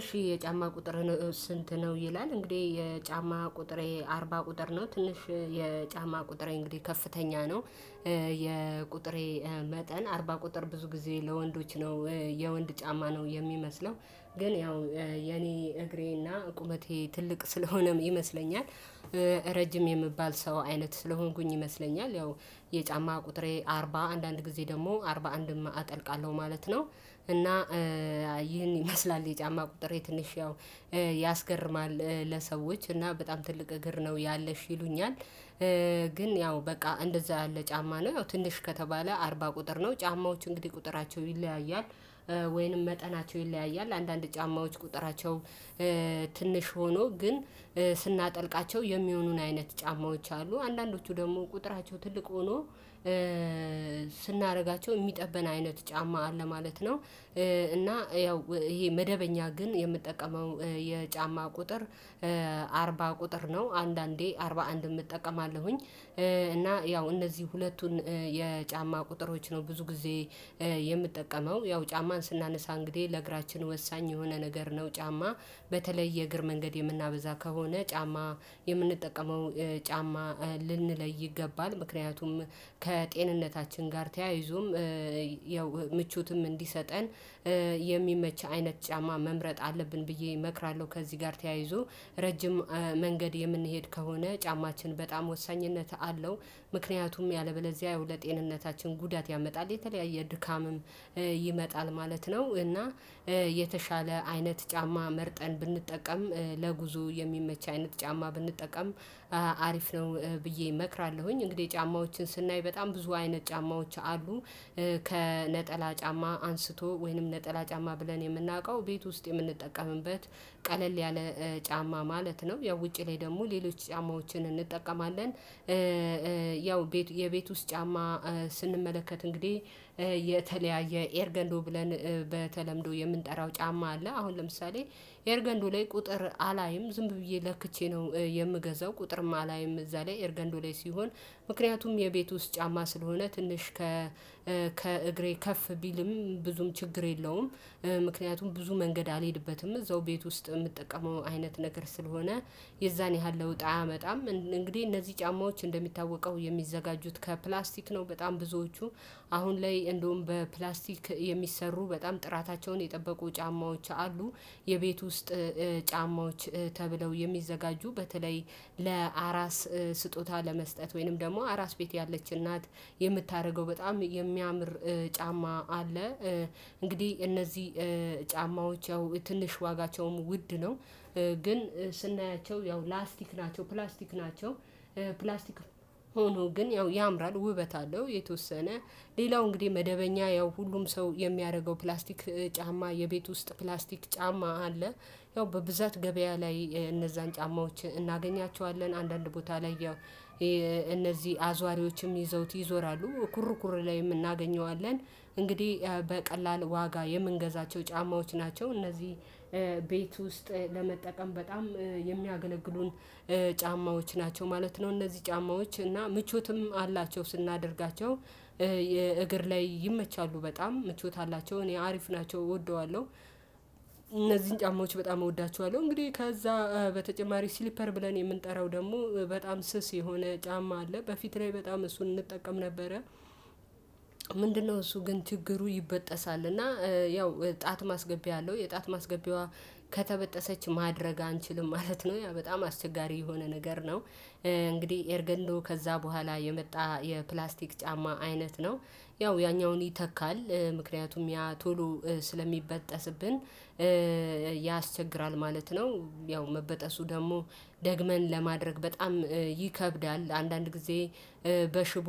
እሺ የጫማ ቁጥርን ስንት ነው ይላል? እንግዴህ የጫማ ቁጥሬ አርባ ቁጥር ነው ትንሽ የጫማ ቁጥሬ እንግዲህ ከፍተኛ ነው። የቁጥሬ መጠን አርባ ቁጥር ብዙ ጊዜ ለወንዶች ነው የወንድ ጫማ ነው የሚመስለው። ግን ያው የኔ እግሬና ቁመቴ ትልቅ ስለሆነም ይመስለኛል። ረጅም የምባል ሰው አይነት ስለሆንኩኝ ይመስለኛል ያው የጫማ ቁጥሬ አርባ አንዳንድ ጊዜ ደግሞ አርባ አንድም አጠልቃለሁ ማለት ነው። እና ይህን ይመስላል የጫማ ቁጥሬ ትንሽ ያው ያስገርማል ለሰዎች እና በጣም ትልቅ እግር ነው ያለሽ ይሉኛል። ግን ያው በቃ እንደዛ ያለ ጫማ ነው ያው ትንሽ ከተባለ አርባ ቁጥር ነው ጫማዎች እንግዲህ ቁጥራቸው ይለያያል። ወይንም መጠናቸውን ይለያያል አንዳንድ ጫማዎች ቁጥራቸው ትንሽ ሆኖ ግን ስናጠልቃቸው የሚሆኑን አይነት ጫማዎች አሉ። አንዳንዶቹ ደግሞ ቁጥራቸው ትልቅ ሆኖ ስናረጋቸው የሚጠብን አይነት ጫማ አለ ማለት ነው። እና ያው ይሄ መደበኛ ግን የምጠቀመው የጫማ ቁጥር አርባ ቁጥር ነው አንዳንዴ አርባ አንድም እጠቀማለሁኝ። እና ያው እነዚህ ሁለቱን የጫማ ቁጥሮች ነው ብዙ ጊዜ የምጠቀመው ያው ጫማን ስናነሳ እንግዲህ ለእግራችን ወሳኝ የሆነ ነገር ነው። ጫማ በተለይ የእግር መንገድ የምናበዛ ከሆነ ጫማ የምንጠቀመው ጫማ ልንለይ ይገባል። ምክንያቱም ከጤንነታችን ጋር ተያይዞም ያው ምቾትም እንዲሰጠን የሚመች አይነት ጫማ መምረጥ አለብን ብዬ እመክራለሁ። ከዚህ ጋር ተያይዞ ረጅም መንገድ የምንሄድ ከሆነ ጫማችን በጣም ወሳኝነት አለው። ምክንያቱም ያለ በለዚያ ያው ለጤንነታችን ጉዳት ያመጣል የተለያየ ድካምም ይመጣል ማለት ነው። እና የተሻለ አይነት ጫማ መርጠን ብንጠቀም ለጉዞ የሚመች አይነት ጫማ ብንጠቀም አሪፍ ነው። ብዬ እመክራለሁኝ እንግዲህ ጫማዎችን ስናይ በጣም ብዙ አይነት ጫማዎች አሉ። ከነጠላ ጫማ አንስቶ ወይንም ነጠላ ጫማ ብለን የምናውቀው ቤት ውስጥ የምንጠቀምበት ቀለል ያለ ጫማ ማለት ነው። ያው ውጪ ላይ ደግሞ ሌሎች ጫማዎችን እንጠቀማለን። ያው ቤቱ የቤቱ ውስጥ ጫማ ስንመለከት እንግዲህ የተለያየ ኤር ገንዶ ብለን በተለምዶ የምንጠራው ጫማ አለ። አሁን ለምሳሌ ኤር ገንዶ ላይ ቁጥር አላይም ዝም ብዬ ለክቼ ነው የምገዛው። ቁጥርም አላይም እዛ ላይ ኤርገንዶ ላይ ሲሆን ምክንያቱም የቤቱ ውስጥ ጫማ ስለሆነ ትንሽ ከእግሬ ከፍ ቢልም ብዙም ችግር የለውም። ምክንያቱም ብዙ መንገድ አልሄድበትም እዛው ቤት ውስጥ ምጠቀመው አይነት ነገር ስለሆነ የዛን ያህል ለውጥ አያመጣም። እንግዲህ እነዚህ ጫማዎች እንደሚታወቀው የሚዘጋጁት ከፕላስቲክ ነው በጣም ብዙዎቹ አሁን ላይ እንደውም በፕላስቲክ የሚሰሩ በጣም ጥራታቸውን የጠበቁ ጫማዎች አሉ። የቤት ውስጥ ጫማዎች ተብለው የሚዘጋጁ በተለይ ለአራስ ስጦታ ለመስጠት ወይንም ደግሞ አራስ ቤት ያለች እናት የምታረገው በጣም የሚያምር ጫማ አለ። እንግዲህ እነዚህ ጫማዎች ያው ትንሽ ዋጋቸውም ውድ ነው። ግን ስናያቸው ያው ላስቲክ ናቸው ፕላስቲክ ናቸው። ፕላስቲክም ሆኖ ግን ያው ያምራል ውበት አለው። የተወሰነ ሌላው እንግዲህ መደበኛ ያው ሁሉም ሰው የሚያደርገው ፕላስቲክ ጫማ የቤት ውስጥ ፕላስቲክ ጫማ አለ። ያው በብዛት ገበያ ላይ እነዛን ጫማዎች እናገኛቸዋለን አንዳንድ ቦታ ላይ ያው እነዚህ አዟሪዎችም ይዘውት ይዞራሉ ኩሩ ኩር ላይም እናገኘዋለን። እንግዲህ በቀላል ዋጋ የምንገዛቸው ጫማዎች ናቸው። እነዚህ ቤት ውስጥ ለመጠቀም በጣም የሚያገለግሉን ጫማዎች ናቸው ማለት ነው። እነዚህ ጫማዎች እና ምቾትም አላቸው ስናደርጋቸው የእግር ላይ ይመቻሉ በጣም ምቾት አላቸው እኔ አሪፍ ናቸው እወደዋለሁ። እነዚህን ጫማዎች በጣም እወዳቸዋለሁ እንግዲህ ከዛ በተጨማሪ ሲሊፐር ብለን የምንጠራው ደግሞ በጣም ስስ የሆነ ጫማ አለ። በፊት ላይ በጣም እሱን እንጠቀም ነበረ። ምንድነው? እሱ ግን ችግሩ ይበጠሳል እና ያው ጣት ማስገቢያ አለው የጣት ማስገቢያዋ ከተበጠሰች ማድረግ አንችልም ማለት ነው። ያ በጣም አስቸጋሪ የሆነ ነገር ነው። እንግዲህ ኤርገንዶ ከዛ በኋላ የመጣ የፕላስቲክ ጫማ አይነት ነው። ያው ያኛውን ይተካል። ምክንያቱም ያ ቶሎ ስለሚበጠስብን ያስቸግራል ማለት ነው። ያው መበጠሱ ደግሞ ደግመን ለማድረግ በጣም ይከብዳል። አንዳንድ ጊዜ በሽቦ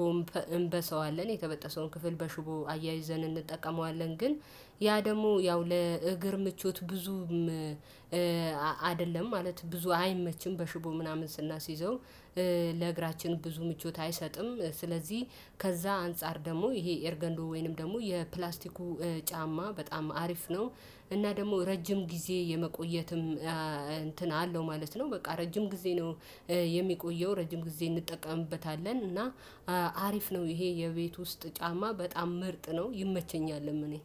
እንበሰዋለን የተበጠሰውን ክፍል በሽቦ አያይዘን እንጠቀመዋለን። ግን ያ ደግሞ ያው ለእግር ምቾት ብዙም አደለም ማለት ብዙ አይመችም በሽቦ ምናምን ስናስይዘው ለእግራችን ብዙ ምቾት አይሰጥም። ስለዚህ ከዛ አንፃር ደግሞ ይሄ ኤርገንዶ ወይንም ደግሞ የፕላስቲኩ ጫማ በጣም አሪፍ ነው። እና ደግሞ ረጅም ጊዜ የመቆየትም እንትን አለው ማለት ነው። በቃ ረጅም ጊዜ ነው። የሚቆየው ረጅም ጊዜ እንጠቀምበታለን እና አሪፍ ነው ይሄ የቤት ውስጥ ጫማ በጣም ምርጥ ነው። ይመቸኛልም እኔ